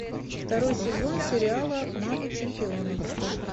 второй сезон сериала мамы чемпионов